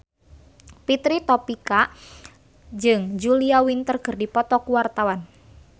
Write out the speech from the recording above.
Fitri Tropika jeung Julia Winter keur dipoto ku wartawan